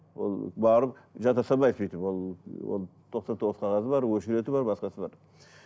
ол барып жата салмайсың өйтіп ол ол тоқсан тоғыз қағазы бар очереді бар басқасы бар